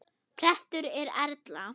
Prestur er Erla.